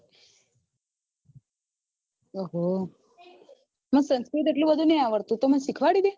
આહ મન સંસ્કૃત એટલું બધું નથી આવડતું તુ મન શીખવાડી ડે